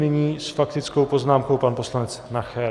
Nyní s faktickou poznámkou pan poslanec Nacher.